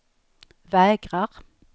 vägrar